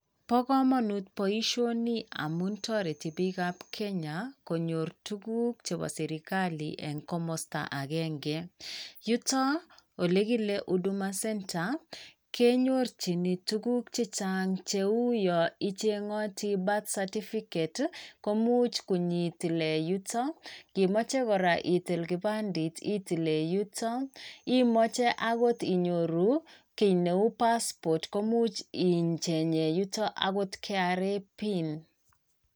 Bo komonut boisioni amun toreti bikap Kenya konyor tuguk chepo serkali eng' komosta agenge. Yuto ole kile Huduma Centre, kenyorjini tuguk chechang' cheu yo icheng'oti Birth certificate komuch konyoitilen yuto. Ngimoche kora itil kipandet, itilee yuto, imoche agot inyoru kiy neu Passport komuch icheng'ee yuto agot KRA PIN.